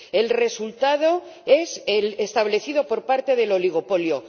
El resultado es el establecido por parte del oligopolio.